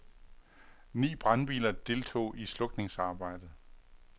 Ni brandbiler deltog i slukningsarbejdet.